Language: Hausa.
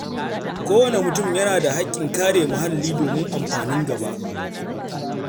Kowane mutum yana da hakkin kare muhalli domin amfanin gaba.